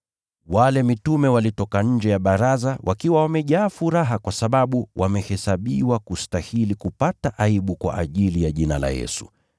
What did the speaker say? Nao mitume wakatoka nje ya baraza, wakiwa wamejaa furaha kwa sababu wamehesabiwa kustahili kupata aibu kwa ajili ya jina la Yesu.